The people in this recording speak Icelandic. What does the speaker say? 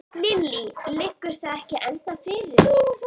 Lillý: Liggur það ekki ennþá fyrir?